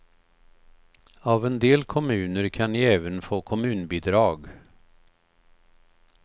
Av en del kommuner kan ni även få kommunbidrag.